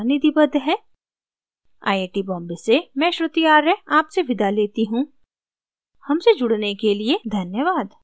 I I T Bombay से मैं श्रुति आर्य आपसे विदा लेती हूँ हमसे जुड़ने के लिए धन्यवाद